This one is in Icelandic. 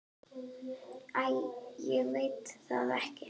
Æ, ég veit það ekki.